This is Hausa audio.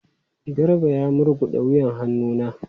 Garba ya murguda wuyan hannu na.